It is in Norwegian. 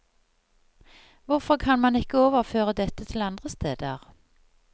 Hvorfor kan man ikke overføre dette til andre steder?